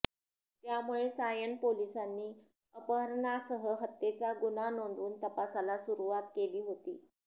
त्यामुळे सायन पोलिसांनी अपहरणासह हत्येचा गुन्हा नोंदवून तपासाला सुरुवात केली होती